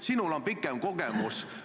Sinul on pikem kogemus.